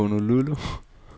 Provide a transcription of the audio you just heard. Honolulu